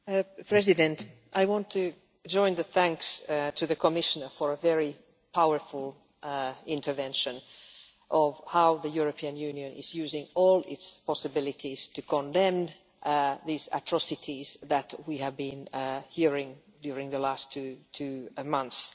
Mr President, I want to join the thanks to the Commissioner for a very powerful intervention on how the European Union is using all its possibilities to condemn these atrocities that we have been hearing about during the last two months.